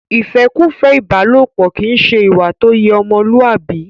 ìfẹ́kùfẹ́ ìbálòpọ kìí ṣe ìwà tó yẹ ọmọlúwàbí.